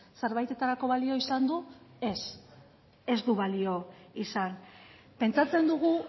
zerbaitetarako balio izan du ez ez du balio izan pentsatzen dugu